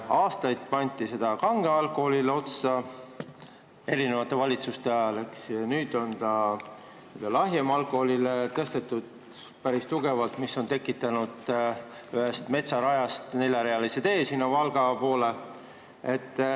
Aastaid pandi seda aktsiisi kangele alkoholile otsa, eri valitsuste ajal, eks, nüüd on lahjema alkoholi aktsiisi tõstetud päris tugevalt, mis on tekitanud ühe metsaraja asemel neljarealise tee Valga poole.